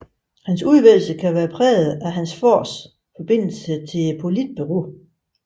Hans udvælgelse kan være præget af hans fars forbindelse til Politbureauet